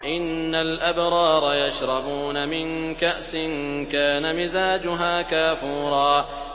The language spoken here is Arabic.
إِنَّ الْأَبْرَارَ يَشْرَبُونَ مِن كَأْسٍ كَانَ مِزَاجُهَا كَافُورًا